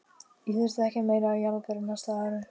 Ég þurfti ekki meira af jarðarberjum næstu árin.